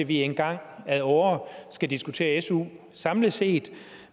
vi engang ad åre skal diskutere su samlet set